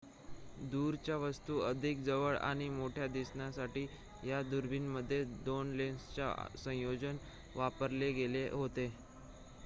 दूरच्या वस्तू अधिक जवळ आणि मोठ्या दिसण्यासाठी या दुर्बिणींमध्ये 2 लेन्सचे संयोजन वापरले गेले होते